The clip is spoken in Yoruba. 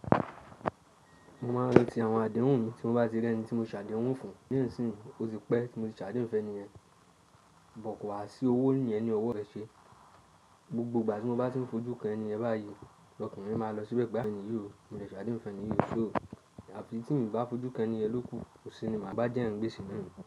Mo máa ń ranti àwọn àdéhùn mi tí mo bá ti rí ẹni tí mo ṣàdéhùn fún. Léèsì ni ó ti pẹ́ tí mo ti ṣàdéhùn fún ẹni yẹn, bọ́ kọ̀ wá sí owó ni yen ni ọwọ́ rẹ̀ ṣe. Gbogbo ìgbà tí mo bá ti n fojú kan ẹni yẹn bá yii, ọkan mi máa lọ síbẹ̀ pe ẹni yii o mo ti ṣàdéhùn fún ẹni yii ṣé o. Àfi tí n bá fojú kan ẹni yẹn lókun, kọsi ni màá bá jẹ́ yan gbése nanu.